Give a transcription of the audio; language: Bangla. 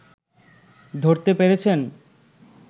ধরতে পেরেছেন